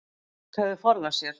Fólk hefði forðað sér